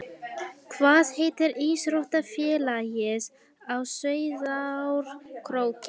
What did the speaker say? Hvað heitir íþróttafélagið á Sauðárkróki?